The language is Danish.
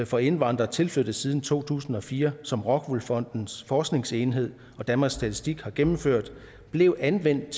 for indvandrere tilflyttet siden to tusind og fire som rockwool fondens forskningsenhed og danmarks statistik har gennemført blev anvendt